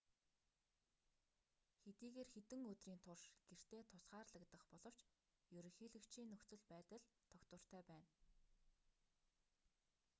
хэдийгээр хэдэн өдрийн турш гэртээ тусгаарлагдах боловч ерөнхийлөгчийн нөхцөл байдал тогтвортой байна